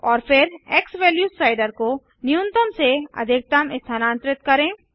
और फिर x value slider को न्यूनतम से अधिकतम स्थानांतरित करें